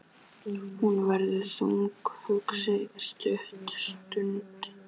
Hún verður þungt hugsi stutta stund.